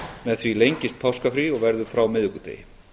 með því lengist páskafrí og verður frá miðvikudegi